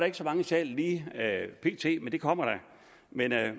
ikke så mange i salen lige pt det kommer der men